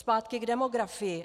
Zpátky k demografii.